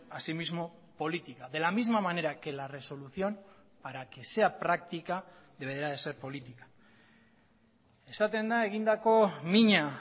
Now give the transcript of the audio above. asimismo política de la misma manera que la resolución para que sea práctica deberá de ser política esaten da egindako mina